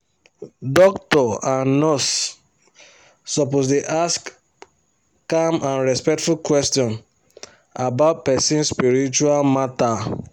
doctor and nurse suppose dey ask calm and respectful question about person spiritual matter